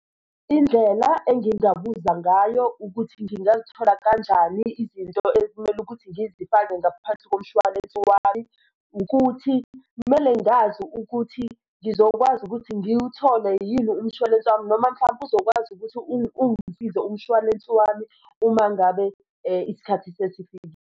Indlela engingabuza ngayo ukuthi ngingazithola kanjani izinto ekumele ukuthi ngizifake ngaphansi komshwalense wami. Ukuthi kumele ngazi ukuthi ngizokwazi ukuthi ngiwuthole yini umshwalense wami noma mhlampe uzokwazi ukuthi ungisize umshwalense wami uma ngabe isikhathi sesifikile.